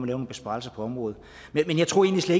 nogle besparelser på området men jeg tror egentlig